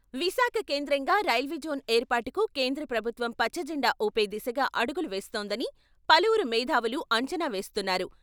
విశాఖ కేంద్రంగా రైల్వేజోన్ ఏర్పాటుకు కేంద్ర ప్రభుత్వం పచ్చ జెండా ఊపే దిశగా అడుగులు వేస్తోందని పలువురు మేథావులు అంచనా వేస్తున్నారు.